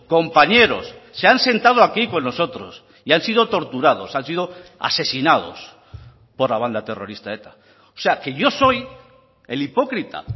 compañeros se han sentado aquí con nosotros y han sido torturados han sido asesinados por la banda terrorista eta o sea que yo soy el hipócrita